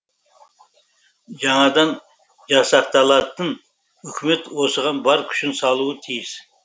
жаңадан жасақталатын үкімет осыған бар күшін салуы тиіс